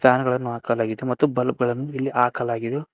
Fan ಗಳನ್ನು ಹಾಕಲಾಗೆದೆ ಮತ್ತು ಬಲ್ಬ್ ಗಳನ್ನು ಇಲ್ಲಿ ಹಾಕಲಾಗಿದು.